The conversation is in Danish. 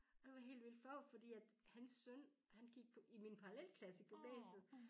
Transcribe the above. Og jeg var helt vildt flov fordi at hans søn han gik i min parallelklasse i gymnasiet